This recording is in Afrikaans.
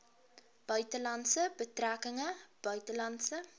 buitelandse betrekkinge buitelandse